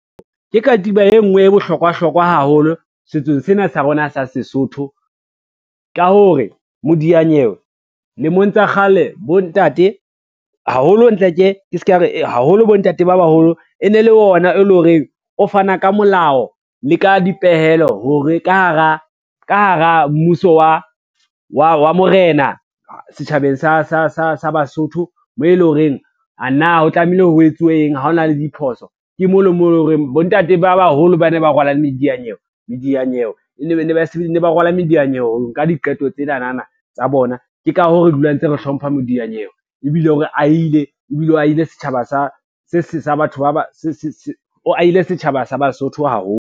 Ke katiba e ngwe e bohlokwa hlokwa haholo setsong sena sa rona sa Sesotho, ka hore modiyanyewe lemong tsa kgale bontate haholo entlek-e ke ska re haholo bontate ba baholo e ne le ona e lo reng o fana ka molao le ka dipehelo hore ka hara mmuso, wa morena, setjhabeng sa Basotho moo e lo reng a na o tlamehile ho etsuweng ha ona le diphoso, ke mo le mo le horeng bontate ba baholo ba ne ba rwala mediyanyewe, ne ba rwala mediyanyewe ho nka diqeto tsenanana tsa bona. Ke ka hoo re dula ntse re hlompha modiyanyewe ebile o re ahile, ebile o ahile setjhaba sa Basotho haholo.